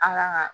An ka